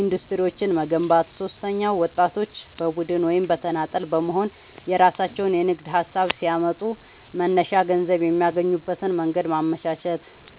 ኢንዱስትሪዎችን መገንባት። ሦስተኛው ወጣቶች በቡድን ወይም በተናጠል በመሆንየራሣቸውን የንግድ ሀሳብ ሲያመጡ መነሻ ገንዘብ የሚያገኙበትን መንገድ ማመቻቸት።